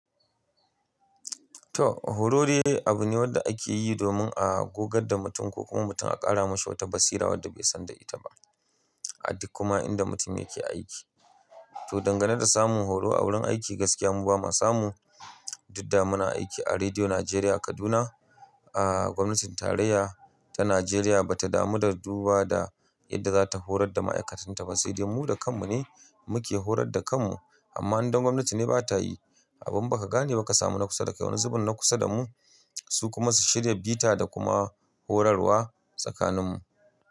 To horo dai abu ne wanda ake yi domin a gogar da mutum ko kuma mutum a ƙara mashi wata basira wadda bai san da ita ba. A duk kuma inda mutum yake aiki. To dangane da samun horo a wurin aiki gaskiya mu ba ma samu. Duk da muna aiki a Rediyo Najeriya Kaduna. A gwamnatin tarayya ta Najeriya ba ta damu da duba da yadda za ta horar da ma'aikatanta ba. Sai dai mu da kanmu ne muke horar da kanmu. Amma idan gwamnati ne ba ta yi, abin ba ka gane ba ka samu na kusa da kai wani zubin na kusa da mu su kuma su shirya bita da kuma horarwa tsakaninmu.